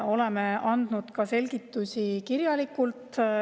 Oleme andnud selgitusi ka kirjalikult.